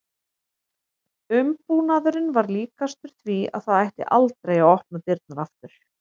Umbúnaðurinn var líkastur því að það ætti aldrei að opna dyrnar aftur.